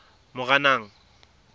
moranang